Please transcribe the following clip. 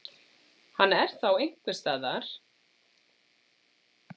Hann er þá einhversstaðar einn á ferð í myrkrinu á bláókunnugum slóðum.